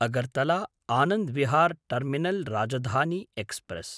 Agartala Anand Vihar terminal Rajdhani express